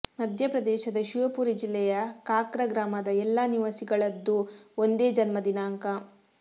ಮಧ್ಯಪ್ರದೇಶದ ಶಿವಪುರಿ ಜಿಲ್ಲೆಯ ಕಾಕ್ರ ಗ್ರಾಮದ ಎಲ್ಲಾ ನಿವಾಸಿಗಳದ್ದೂ ಒಂದೇ ಜನ್ಮ ದಿನಾಂಕ